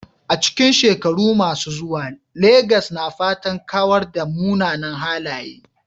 A cikin shekaru masu zuwa, Legas na fatan kawar da munanan halaye.